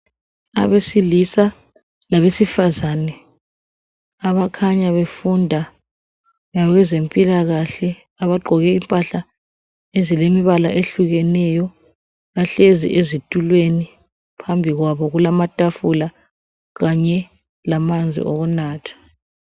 abesilisa labesifazane abakhanya befunda labezempilakahle abagqoke impahla ezilemibala ehlukeneyo bahlezi ezitulweni phambi kwabo kulamatafula kanye lamanzi okunatha